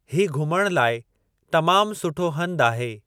ही घुमण लाइ तमाम सुठो हंधु आहे।